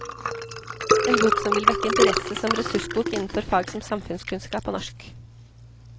En bok som vil vekke interesse som ressursbok innenfor fag som samfunnskunnskap og norsk.